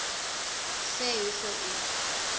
sê hoeveel u